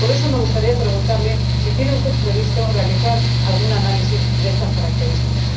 Por eso me gustaría preguntarle si tiene usted previsto realizar algún análisis de estas características.